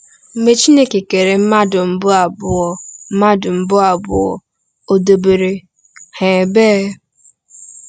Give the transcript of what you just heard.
Mgbe Chineke kere mmadụ mbụ abụọ, mmadụ mbụ abụọ, o debere ha ebee?